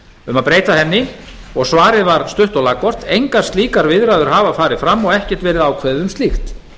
um að breyta henni og svarið var stutt og laggott engar slíkar viðræður hafa farið fram og ekkert verið ákveðið um slíkt